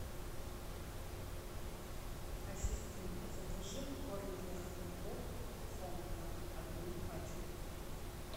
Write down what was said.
ассистент закажи корм для хомяков хомка одну пачку